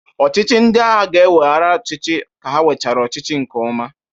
Ọchịchị ndị agha ga-eweghara ọchịchị ka ha nwechara ọchịchị nke ọma